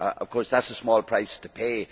Of course, that is a small price to pay